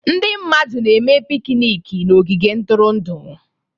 Ndị mmadụ na-eme pikniiki na ogige ntụrụndụ.